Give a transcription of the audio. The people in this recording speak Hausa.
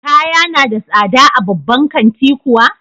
Kaya na da tsada a babban kanti kuwa?